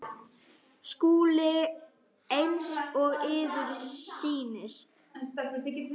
SKÚLI: Eins og yður sýnist.